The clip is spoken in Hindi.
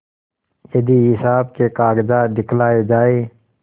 यदि हिसाब के कागजात दिखलाये जाएँ